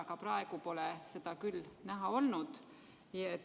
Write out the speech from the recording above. Aga praegu pole seda küll näha olnud.